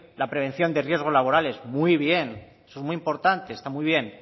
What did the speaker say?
la prevención de riesgos laborales muy bien eso es muy importante está muy bien